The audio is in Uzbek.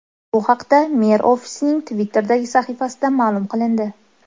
Bu haqda mer ofisining Twitter’dagi sahifasida ma’lum qilindi .